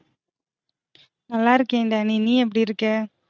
நல்லா இருக்கேன் டேனி நீ எப்டி இருக்க?